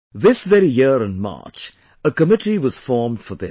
This very year in March, a committee was formed for this